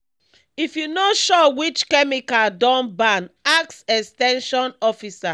if you no sure which chemical don ban ask ex ten sion officer.